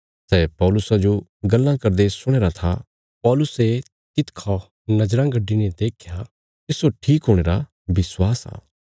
सै पौलुसा जो गल्लां करदे सुणया राँ था पौलुसे तिसखा नज़राँ गड्डीने देख्या भई तिस्सो ठीक हुणे रा विश्वास आ